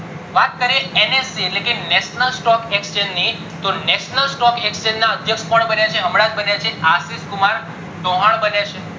વાત કરીએ NSE એટલે કે national stock exchange ની તો national stock exchange ના અધ્યક્ષ કોણ કોણ બન્યા છે હમણાજ બન્યા છે આશિષ કુમાર ચૌહાણ બન્યા છે